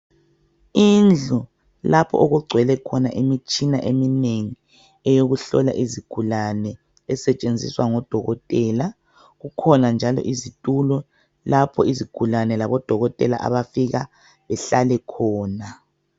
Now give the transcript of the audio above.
Indlu lapho okugcwele khona imitshina eminengi eyokuhlola izigulane esetshenzisa ngodokotela, kukhona njalo izitulo lapho izigulane labodokotela abafika behlale khona